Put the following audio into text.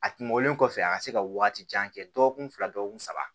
A kun bɔlen kɔfɛ a ka se ka waati jan kɛ dɔgɔkun fila dɔgɔkun saba